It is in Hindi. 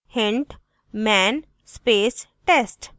* hint: man space test